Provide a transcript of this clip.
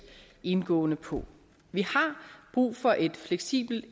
indgående på vi har brug for et fleksibelt